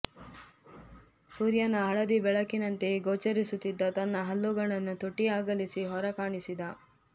ಸೂರ್ಯನ ಹಳದಿ ಬೆಳಕಿನಂತೆಯೇ ಗೋಚರಿಸುತ್ತಿದ್ದ ತನ್ನ ಹಲ್ಲುಗಳನು ತುಟಿ ಅಗಲಿಸಿ ಹೊರಕಾಣಿಸಿದ